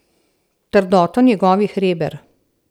Trdoto njegovih reber.